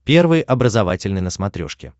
первый образовательный на смотрешке